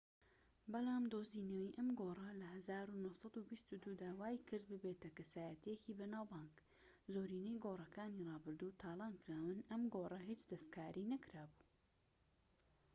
بەلام دۆزینەوەی ئەم گۆڕە لە ١٩٢٢ دا وای کرد ببیتە کەسایەتیەکی بەناوبانگ. زۆرینەی گۆڕەکانی ڕابردوو تالان کراون، ئەم گۆڕە هیچ دەستکاری نەکرابوو